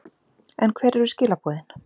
En hver eru skilaboðin?